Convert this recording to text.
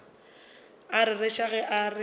a rereša ge a re